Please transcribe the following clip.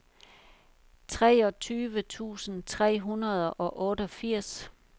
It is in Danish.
treogtyve tusind tre hundrede og otteogfirs